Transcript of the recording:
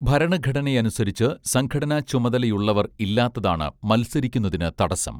ഭരണഘടനയനുസരിച്ച് സംഘടനാ ചുമതലയുള്ളവർ ഇല്ലാത്തതാണ് മത്സരിക്കുന്നതിന് തടസ്സം